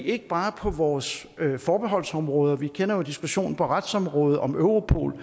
ikke bare på vores forbeholdsområder vi kender jo diskussionen på retsområdet om europol